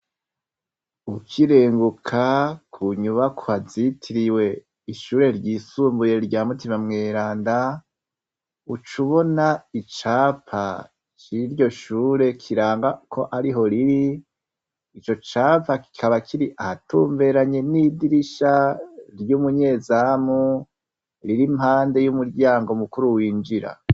Ukirenguka ku nyubakwa zitiriwe ishure ryisumbuye rya mutima mweranda, ucubona icapa ciryo shure kiranga ko ariho riri, ico capa kikaba kiri ahatumberanye n'idirisha ry'umunyezamu riri impande y'umuryango mukuru winjira.